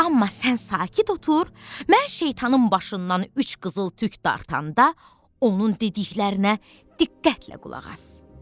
Amma sən sakit otur, mən şeytanın başından üç qızıl tük dartanda onun dediklərinə diqqətlə qulaq as.